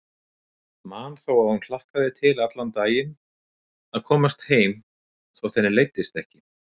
Man þó að hún hlakkaði til allan daginn að komast heim þótt henni leiddist ekki.